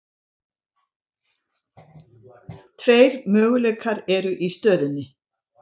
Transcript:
Tveir möguleikar eru í stöðunni.